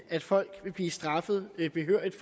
at folk vil blive straffet behørigt i